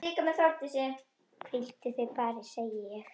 Hvíldu þig bara, segi ég.